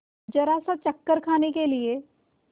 जरासा चक्कर खाने के लिए